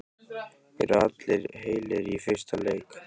Eru allir heilir í fyrsta leik?